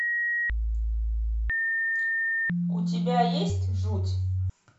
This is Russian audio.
у тебя есть жуть